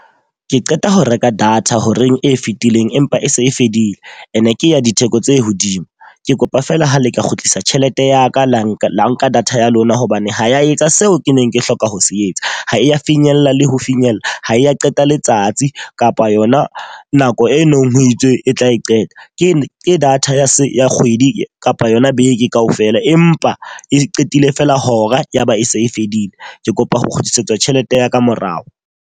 Ke qeta ho reka data horeng e fetileng empa e se e fedile. E ne ke ya ditheko tse hodimo. Ke kopa feela ha le ka kgutlisa tjhelete ya ka la nka nka data ya lona hobane ho ya etsa seo ke neng ke hloka ho se etsa. Ha e ya finyella le ho finyella, ha e ya qeta letsatsi kapa yona nako e nong ho itswe e tla e qeta. Ke data ya kgwedi kapa yona beke ka ofela, empa e qetile feela hora yaba e se e fedile. Ke kopa ho kgutlisetswa tjhelete ya ka morao.